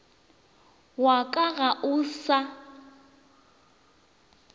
wa ka ga o sa